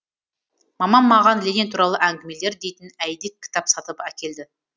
мамам маған ленин туралы әңгімелер дейтін әйдік кітап сатып әкелді